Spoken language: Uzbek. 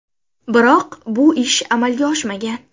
Biroq bu ish amalga oshmagan.